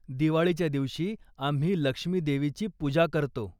दिवाळीच्या दिवशी आम्ही लक्ष्मी देवीची पूजा करतो.